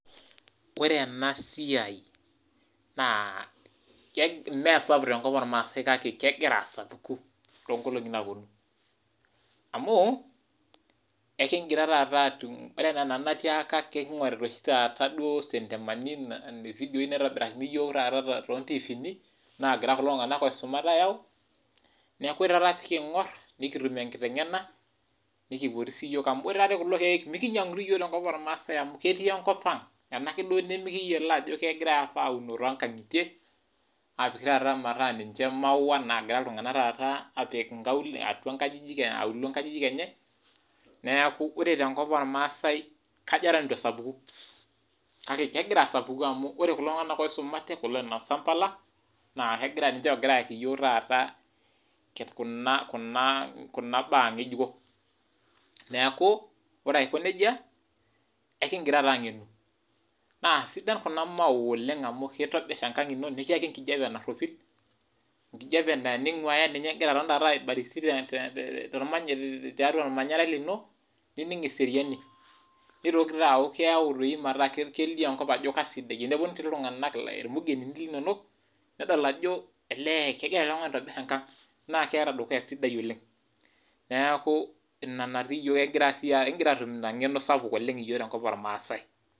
Ore ena siai na ke mmee sapuk tenkop ormaase kake kegira taata asapuku tonkolongi napuonu amu ekigira taata atu ore enaa anadi natiaka enkingorita oshi taata sentemani , yani ividio too nfiini nagira kulo tunganak oisumate ayau , niaku ore taata pikingor , nikitum enkitengena amu ore naa dii kulo kiek mikinyangu dii iyiook tenkop ormaase amu ketii enkop ang , ena ke duo nimikiyiolo aunoo toonkangitie apik taata metaa ninche maua nagira iltunganak apika atua nkaulele , atua nkajijik enye neeku ore tenkop ormaasae kajo eton itu esapuku. Kake kegira asapuku, ore kulo tunganak oisumate, kulo oinosa mpala, ninche ogira ayaki iyiook kuna , kuna baa ngejuko . Neeku ore aiko nejia ekingira taa angenu . Naa sidan kuna maua oleng amu kitobir enkang ino nikiyaki enkiti kijape naropil, enkiti kijape naa teningwaya ninye ingira taata aibarizi tiatua ormanyara lino nining eseriani. Nitoki toiaku keau metaa kelio enkop ajo kasidai . Teneponu iltunganak , irmugenini linonok nedol ajo elee kegira oltungani aitobir enkang ,naa keeta dukuya sidai oleng, niaku ina inkingira atum ina ngeno sapuk iyiook tenkop ormaase.